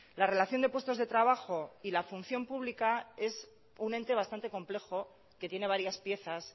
la relación de puestos de trabajo y la función pública es un ente bastante complejo que tiene varias piezas